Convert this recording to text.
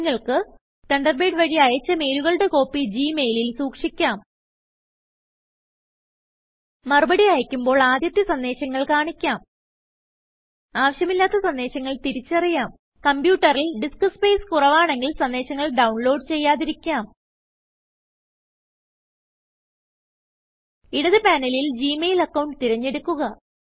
നിങ്ങൾക്ക് തണ്ടർബേഡ് വഴി അയച്ച മെയിലുകളുടെ കോപ്പി ജിമെയിലിൽ സൂക്ഷിക്കാം മറുപടി അയക്കുമ്പോൾ ആദ്യത്തെ സന്ദേശങ്ങൾ കാണിക്കാം ആവിശ്യമില്ലാത്ത സന്ദേശങ്ങൾ തിരിച്ചറിയാം കമ്പ്യൂട്ടറിൽ ഡിസ്ക് സ്പേസ് കുറവാണെങ്കിൽ സന്ദേശങ്ങൾ ഡൌൺലോഡ് ചെയ്യാതിരിക്കാം ഇടത് പാനലിൽ ജിമെയിൽ അക്കൌണ്ട് തിരഞ്ഞെടുക്കുക